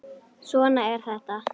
Svona er þetta.